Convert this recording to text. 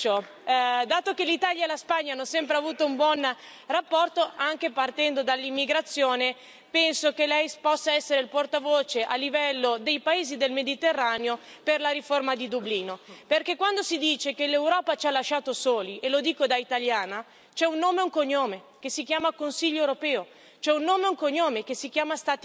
Dato che l'Italia e la Spagna hanno sempre avuto un buon rapporto, anche partendo dall'immigrazione, penso che Lei possa essere il portavoce, a livello dei paesi del Mediterraneo, per la riforma di Dublino, perché quando si dice che l'Europa ci ha lasciato soli, e lo dico da italiana, c'è un nome e un cognome che si chiama Consiglio europeo, c'è un nome e un cognome che si chiama Stati membri.